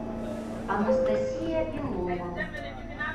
анастасия белова